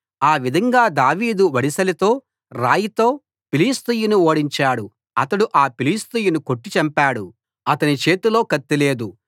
ఆ విధంగా దావీదు వడిసెలతో రాయితో ఫిలిష్తీయుణ్ణి ఓడించాడు అతడు ఆ ఫిలిష్తీయుణ్ణి కొట్టి చంపాడు అతని చేతిలో కత్తి లేదు